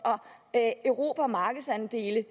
at erobre markedsandele